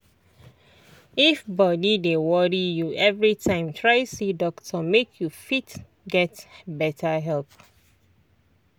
if body dey worry you everytime try see doctor make you fit get better help.